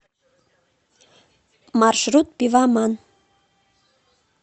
маршрут пивоман